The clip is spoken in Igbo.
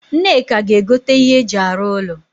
Nneka ga egote ihe eji aru ulo